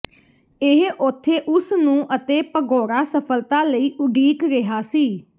ਇਹ ਉਥੇ ਉਸ ਨੂੰ ਅਤੇ ਭਗੌੜਾ ਸਫਲਤਾ ਲਈ ਉਡੀਕ ਰਿਹਾ ਸੀ